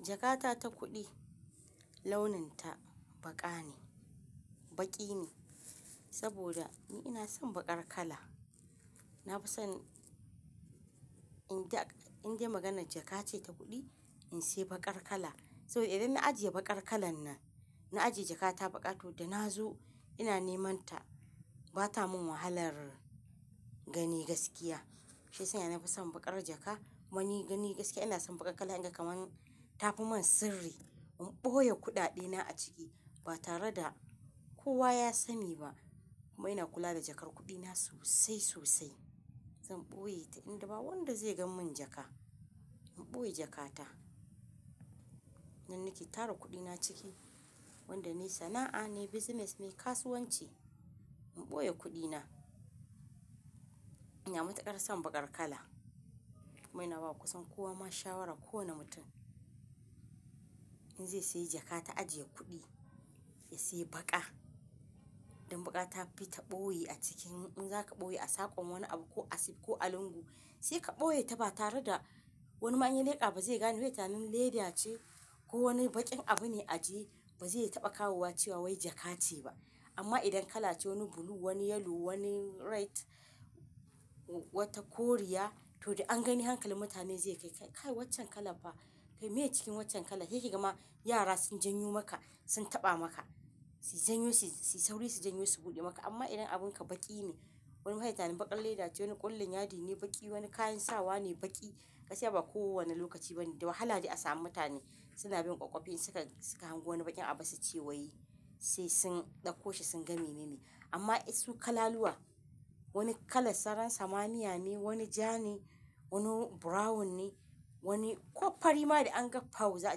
Jakata ta kuɗi launin ta baƙa ne, baƙi ne. Saboda ni ina son baƙar kala. Na fi son in de, in de maganan jaka ce ta kuɗi in sayi baƙar kala. Saboda idan na ajiye baƙar kalan nan, na ajiye jakata baƙa to da na zo ina neman ta, ba ta mun wahalar gani gaskiya. Shiya sanya na fi son baƙar jaka. Kuma ni gani gaskiya ina son baƙar kala in ga kamar ta fi man sirri. In ɓoye kuɗaɗe na a ciki ba tare da kowa ya sani ba. Kuma ina kula da jakar kuɗi na sosai sosai. Zan ɓoye ta in da ba wanda zai ga mun jaka. In ɓoye jakata. Nan nike tara kuɗi na ciki. Wanda nayi sana'a ne, nayi business nayi, kasuwanci. In ɓoye kuɗi na. Ina matuƙar son baƙar kala. Kuma ina ba kusan kowa ma shawara, kowane mutum in zai sayi jaka ta ajiye kuɗi ya sayi baƙa. Dan baƙa ta fi ta ɓoye a cikin. In zaka ɓoye a sakon wani abu ko asib ko alungu, sai ka ɓoye ta ba tare da wani ma inya leƙa ba zai gane zai yi tinanin leda ce ko wani baƙin abu ne aje, ba zai taɓa kawowa cewa wai jaka ce ba. Amma idan kala ce wani blue, wani yellow, wani red, wata koriya, to dai an gani hankalin mutane zai kai, "Kai waccan kalan fa, kai miye cikin waccan kala?" Sai ki gama yara sun janyo maka, sun taɓa maka. Su janyo su, su sauri su janyo su buɗe maka. Amma idan abun ka baƙi ne, wani ma sai yayi tunanin baƙar leda ce, wani ƙullun yadi ne baƙi, wani kayan sawa ne baƙi. Gaskiya ba kowane lokaci bane da wahala de a samu mutane suna bin ƙwaƙƙwafin suka, suka hango wani baƙin abu suce wai sai sun ɗauko shi sun gani mene ne. Amma in su kalaluwa, wani kala sararin samaniya ne, wani ja ne, wani brown ne, wani ko fari ma da an ga pau za'a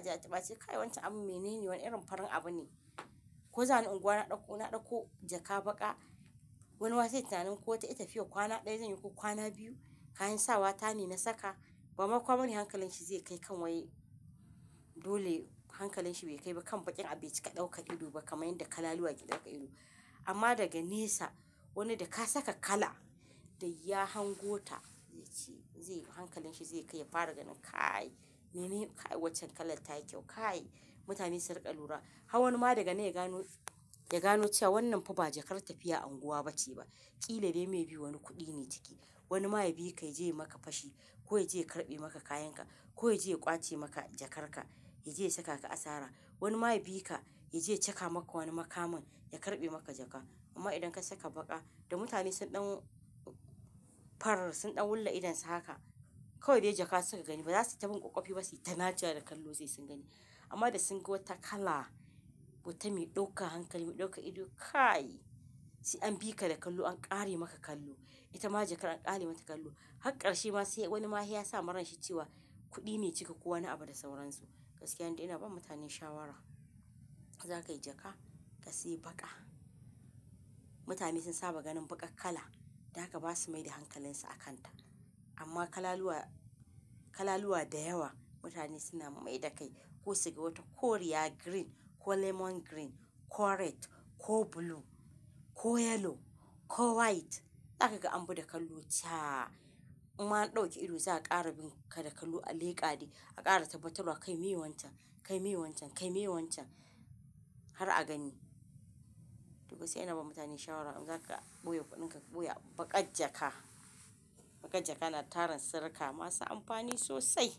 je a taɓa sai "Kai wancan abun mene ne? Wane irin farin abu ne?" Ko zani unguwa na ɗauko, na ɗauko jaka baƙa wani ma se yayi tunanin ko wata yattafiya kwana ɗaya zanyi ko kwana biyu. Kayan sawa ta ne na saka. Bama kowa bane hankalin shi zai kai kan wai dole hankalin shi bai kai ba kan baƙin abu ya cika ɗaukar ido ba kamar yadda kalaluwa ke ɗaukar ido. Amma daga nesa wani da ka saka kala da ya hango ta zai ce, zai, hankalin shi zai kai ya fara ganin "Kai mene ne? Kai waccan kalan ta yi kyau. Kai." Mutane su riƙa lura. Har wani ma daga yana gano, ya gano cewa wannan fa ba jakar tafiya anguwa ba ce ba. Ƙila dai me bi wani kuɗi ne ciki. Wani ma ya bika ya je ya maka fashi ko ya je ya karɓe maka kayan ka, ko ya je ya ƙwace maka jakar ka, ya je ya saka ka asara. Wani ma ya bi ka ya je ya caka maka wani makamin ya karɓe maka jaka. Amma idan ka saka baƙa da mutane sun ɗan farar, sun ɗau wulla idon su haka kawai dai jaka suka gani ba za su yi ta bin ƙwaƙƙwafi ba suyi ta naca wa da kallo sai sun gani. Amma da sun ga wata kala wata mai ɗaukar hankali, mai ɗaukar ido "Kai," sai an bi ka da kallo an ƙare maka kallo. Ita ma jakar an ƙare mata kallo. Hakkarshe ma se wani ma se ya sa maransa cewa kuɗi ne ciki ko wani abu da sauransu. Gaskiya nidai ina ba mutane shawara idan zakayi jaka ka sayi baƙa. Mutane sun saba ganin baƙar kala. Dahaka ba su mai da hankalin su akan ta. Amma kalaluwa, kalaluwa da yawa mutane suna mai da kai. Ko su ga wata koriya green ko lemon green ko red ko blue ko yellow ko white. Daka ka ambi da kallo caaa imma an ɗauke ido za a ƙara bin ka da kallo a leƙa de, a ƙara tabbatarwa kai me wancan? Kai me wancan? Kai me wancan? Har a gani. To gaskiya ina ba mutane shawara idan za ka ɓoye kuɗin ka ɓoye a baƙar jaka. Baƙar jaka na taran sirri ka masu amfani sosai.